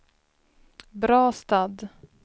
Brastad